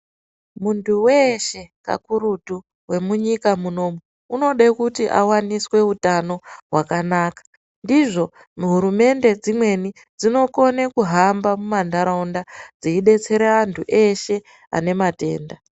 Muntu weshe kakurutu wemunyika munomu unode kuti awaniswe utano hwakanaka ndizvo hurumende dzimweni dzinokone kuhamba mumantaraunda dzeibetsera antu eshe ane matenda .